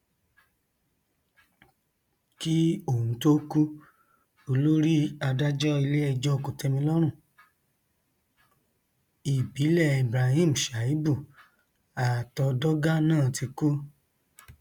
kí òun tóó kú olórí adájọ iléẹjọ kòtẹmílọrọn ìbílẹ ibrahim shaibù àtọdọgá náà ti kú